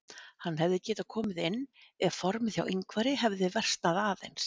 Hann hefði getað komið inn ef formið hjá Ingvari hefði versnað aðeins.